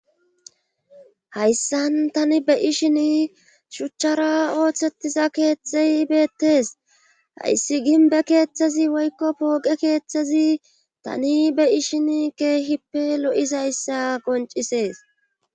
Hayssan tani be'ishin shuchara oosetiza keeeththay beetees. Hayssi gimbbe keeththazi woykko pooqe keeththazi tani be'ishin keeippe lo'izayssa qonccisees.